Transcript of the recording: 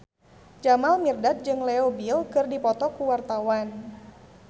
Jamal Mirdad jeung Leo Bill keur dipoto ku wartawan